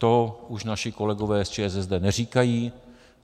To už naši kolegové z ČSSD neříkají.